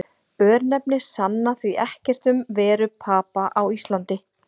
Örnefni sanna því ekkert um veru Papa á Íslandi.